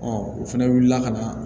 u fɛnɛ wulila ka na